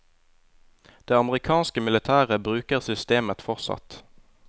Det amerikanske militæret bruker systemet fortsatt.